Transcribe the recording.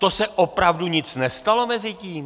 To se opravdu nic nestalo mezi tím?